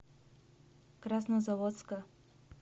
краснозаводска